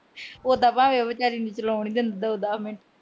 ਉਦਾਂ ਉਹ ਭਾਵੇਂ ਵਿਚਾਰੀ ਨੂੰ ਚਲਾਉਣ ਈ ਨਾ ਦਿੰਦਾ ਹੋਵੇ।